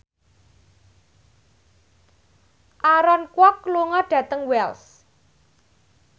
Aaron Kwok lunga dhateng Wells